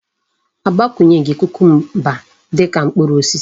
Agbakwunyeghi kucumber dika mkpuru osisi